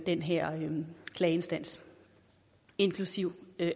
den her klageinstans inklusive